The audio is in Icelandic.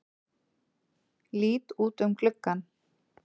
Lít út um gluggann.